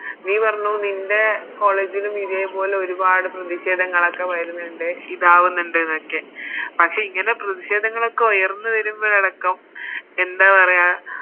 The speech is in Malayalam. നീ പറഞ്ഞു നിൻറെ College ലും ഇതേപോലെ ഒരുപാട് പ്രതിഷേധങ്ങളൊക്കെ വരുന്നുണ്ട് ഇതാവുന്നുണ്ട് എന്നൊക്കെ പക്ഷെ ഇങ്ങനെ പ്രതിഷേധങ്ങളൊക്കെ ഉയർന്ന് വരുമ്പളടക്കം എന്താ പറയാ